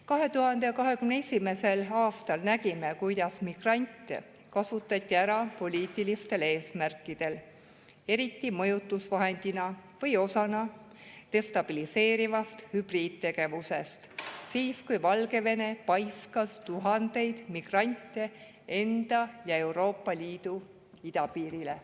2021. aastal nägime, kuidas migrante kasutati ära poliitilistel eesmärkidel, eriti mõjutusvahendina või osana destabiliseerivast hübriidtegevusest, kui Valgevene paiskas tuhandeid migrante enda ja Euroopa Liidu idapiirile.